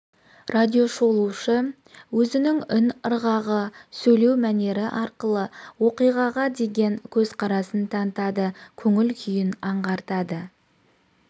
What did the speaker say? радиошолушы өзінің үн ырғағы сөйлеу мәнері арқылы оқиғаға деген көзқарасын танытады көңіл-күйін аңғартады